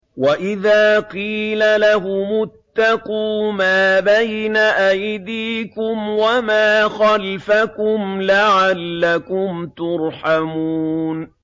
وَإِذَا قِيلَ لَهُمُ اتَّقُوا مَا بَيْنَ أَيْدِيكُمْ وَمَا خَلْفَكُمْ لَعَلَّكُمْ تُرْحَمُونَ